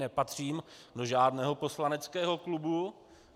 Nepatřím do žádného poslaneckého klubu.